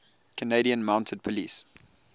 canadian mounted police